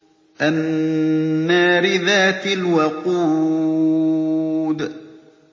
النَّارِ ذَاتِ الْوَقُودِ